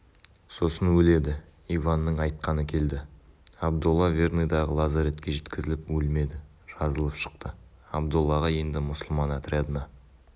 сосын өледі иванның айтқаны келді абдолла верныйдағы лазаретке жеткізіліп өлмеді жазылып шықты абдоллаға енді мұсылман отрядына